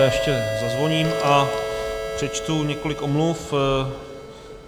Já ještě zazvoním a přečtu několik omluv.